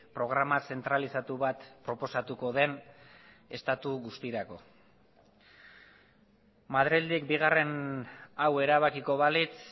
programa zentralizatu bat proposatuko den estatu guztirako madrildik bigarren hau erabakiko balitz